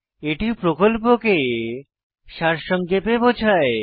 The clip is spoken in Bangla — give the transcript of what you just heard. এটি প্রকল্পকে সারসংক্ষেপে বোঝায়